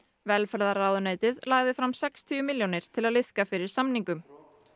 velferðarráðuneytið lagði fram sextíu milljónir til að liðka fyrir samningum